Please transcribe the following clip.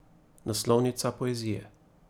Naslovnica Poezije.